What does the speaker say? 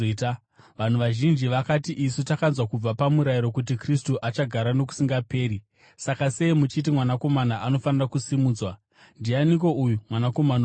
Vanhu vazhinji vakati, “Isu takanzwa kubva paMurayiro kuti Kristu achagara nokusingaperi, saka sei muchiti, ‘Mwanakomana anofanira kusimudzwa’? Ndianiko uyu ‘Mwanakomana woMunhu’?”